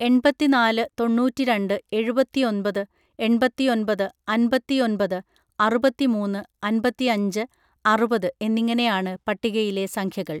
എൺപത്തിനാല് തൊണ്ണൂറ്റി രണ്ട് എഴുപത്തിയൊൻപത് എൺപത്തിയൊൻപത് അൻപത്തിയൊൻപത് അറുപത്തിമൂന്ന് അൻപത്തിയഞ്ച് അറുപത് എന്നിങ്ങനെയാണ് പട്ടികയിലെ സംഖ്യകൾ